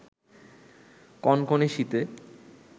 কনকনে শীতে